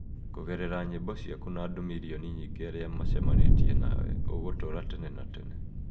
Kũgerera nyĩmbo ciaku na andũ mirioni nyingĩ arĩa macamanĩtie nawe, ũgũtũũra tene na tene.